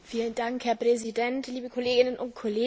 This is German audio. Herr Präsident, liebe Kolleginnen und Kollegen!